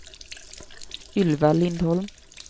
Ylva Lindholm